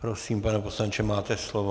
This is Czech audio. Prosím, pane poslanče, máte slovo.